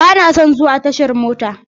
Bana son zuwa tashar mota.